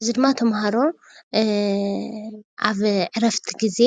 እዙይ ድማ ተማህሮ ኣብ ዕርፍቲ ግዜ